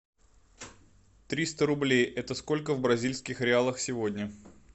триста рублей это сколько в бразильских реалах сегодня